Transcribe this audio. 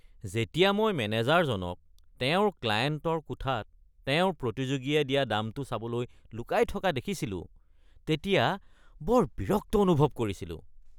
যেতিয়া মই মেনেজাৰজনক তেওঁৰ ক্লায়েণ্টৰ কোঠাত তেওঁৰ প্ৰতিযোগীয়ে দিয়া দামটো চাবলৈ লুকাই থকা দেখিছিলো তেতিয়া বৰ বিৰক্ত অনুভৱ কৰিছিলোঁ।